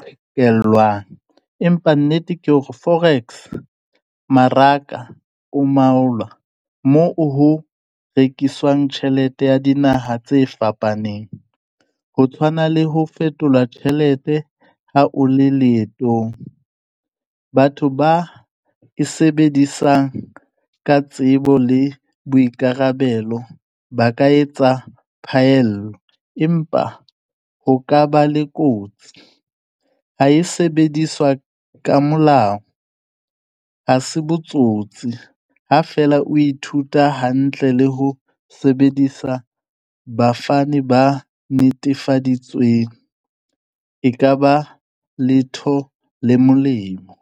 qhekellwang empa nnete ke hore forex maraka o moo ho rekiswang tjhelete ya dinaha tse fapaneng. Ho tshwana le ho fetolwa tjhelete ha o le leetong. Batho ba e sebedisang ka tsebo le boikarabelo ba ka etsa phaello, empa ho ka ba le kotsi. Ha e sebediswa ka molao, ha se botsotsi ha fela o ithuta hantle le ho sebedisa bafani ba netefaditsweng e ka ba letho le molemo.